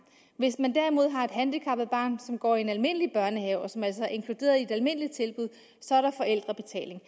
hvis man derimod har et handicappet barn som går i en almindelig børnehave og som altså er inkluderet i et almindeligt tilbud så er der forældrebetaling